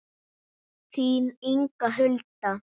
Þín Inga Hulda.